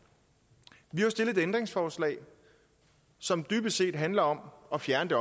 vi har jo stillet et ændringsforslag som dybest set handler om at fjerne